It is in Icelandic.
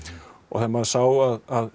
þegar maður sá að